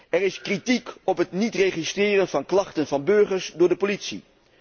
Er is kritiek op het niet registreren van klachten van burgers door de politie.